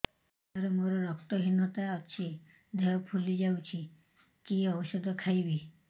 ସାର ମୋର ରକ୍ତ ହିନତା ଅଛି ଦେହ ଫୁଲି ଯାଉଛି କି ଓଷଦ ଖାଇବି